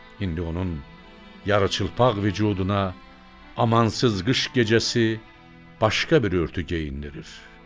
İndi onun yarıçılpaq vücuduna amansız qış gecəsi başqa bir örtük geyindirir.